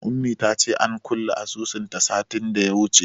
Ummi ta ce an kulle asusunta satin da ya wuce.